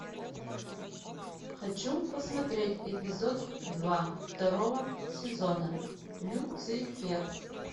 хочу посмотреть эпизод два второго сезона люцифер